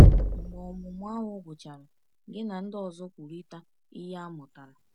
Mgbe ọmụmụ ahụ gwụchara, gị na ndị ọzọ kwurịta ihe a mụtara.